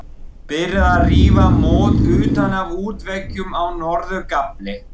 Byrjað að rífa mót utan af útveggjum á norður gafli.